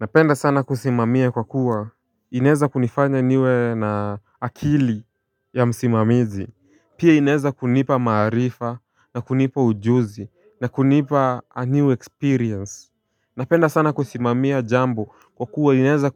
Napenda sana kusimamia kwa kuwa ineza kunifanya niwe na akili ya msimamizi. Pia inaeza kunipa maarifa na kunipa ujuzi na kunipa a new experience Napenda sana kusimamia jambo kwa kuwa inaeza